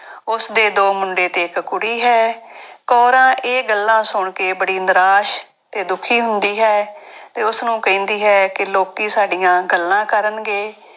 ਉਸਦੇ ਦੋ ਮੁੰਡੇ ਤੇ ਇੱਕ ਕੁੜੀ ਹੈ ਕੋਰਾਂ ਇਹ ਗੱਲਾਂ ਸੁਣ ਕੇ ਬੜੀ ਨਰਾਸ਼ ਤੇ ਦੁੱਖੀ ਹੁੰਦੀ ਹੈ ਤੇ ਉਸਨੂੰ ਕਹਿੰਦੀ ਹੈ ਕਿ ਲੋਕੀ ਸਾਡੀਆਂ ਗੱਲਾਂ ਕਰਨਗੇ।